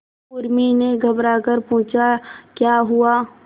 उर्मी ने घबराकर पूछा क्या हुआ